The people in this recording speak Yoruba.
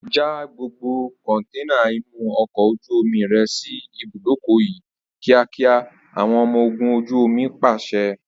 Já gbogbo kọntẹ́ẹ́nà inú ọkọ̀ ojú omi rẹ sì ibùdókọ̀ yìí kíákíá! Àwọn ọmọ ogún ojú omi pàṣẹ.